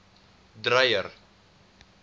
dreyer